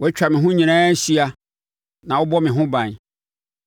Woatwa me ho nyinaa ahyia na wobɔ me ho ban.